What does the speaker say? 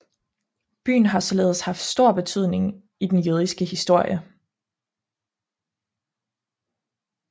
Byen har således haft stor betydning i den jødiske historie